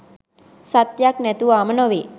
සත්‍යයක් නැතුවාම නොවේ.